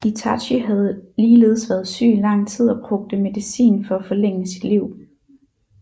Itachi havde ligeledes været syg i lang tid og brugte medicin for at forlænge sit liv